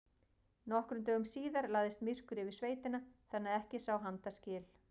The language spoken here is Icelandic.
Nokkrum dögum síðar lagðist myrkur yfir sveitina þannig að ekki sá handa skil.